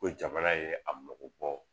Ko jamana ye a mago bɔ